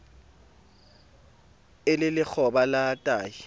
e le lekgoba la tahi